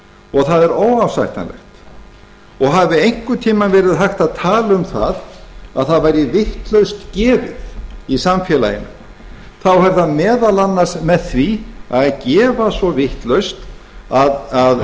og það er óásættanlegt hafi einhvern tíma verið hægt að tala um að það væri vitlaust gefið í samfélaginu er það meðal annars með því að gefa svo vitlaust að